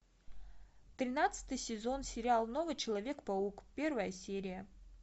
тринадцатый сезон сериал новый человек паук первая серия